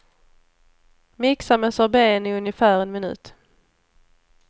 Mixa med sorbeten i ungefär en minut.